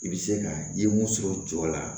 I bɛ se ka i ye mun sɔrɔ jɔ la